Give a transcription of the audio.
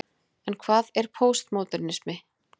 En hvað er póstmódernismi?